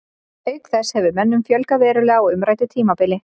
Auk þess hefur mönnum fjölgað verulega á umræddu tímabili.